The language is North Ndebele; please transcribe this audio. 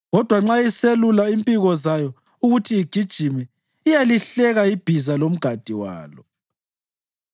Kodwa nxa isiselula impiko zayo ukuthi igijime, iyalihleka ibhiza lomgadi walo.